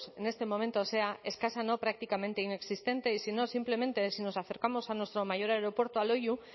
en este momento sea escasa no prácticamente inexistente y si no simplemente si nos acercamos a nuestro mayor aeropuerto a loiu